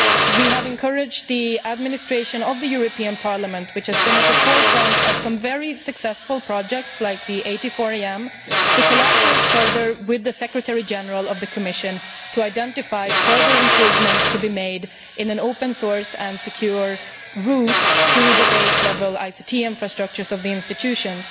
We have also encouraged the administration of the European Parliament which has been at the forefront of some very successful projects like the AT4AM to collaborate further with the Secretary General of the Commission in order to identify further improvements to be made in an open source and secure root to the base level ICT infrastructures of the institutions.